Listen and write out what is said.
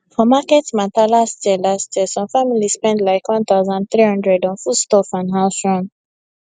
for market matter last year last year some family spend like 1300 on foodstuff and house run